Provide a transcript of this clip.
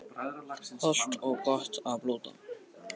Hollt og gott að blóta